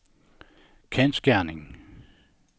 kendsgerning